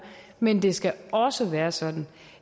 men det skal også være sådan